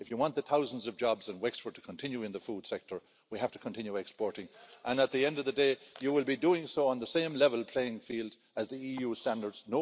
If you want the thousands of jobs in Wexford to continue in the food sector, we have to continue exporting and at the end of the day you will be doing so on the same level playing field as the EU standards.